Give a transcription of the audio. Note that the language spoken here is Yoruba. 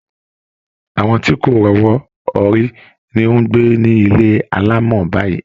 Àwọn tí kò rọ́wọ́ họrí ni ó ń gbé ní ilé alámọ̀ báyìí